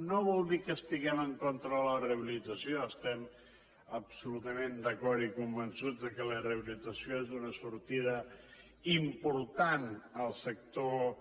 no vol dir que estiguem en contra de la rehabilitació estem absolutament d’acord i convençuts que la rehabilitació és una sortida important al sector